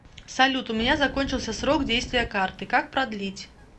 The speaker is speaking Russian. салют у меня закончился срок действия карты как продлить